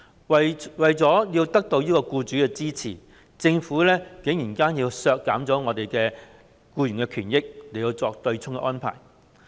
為了得到僱主的支持，政府竟然削減僱員的權益，作出對沖安排。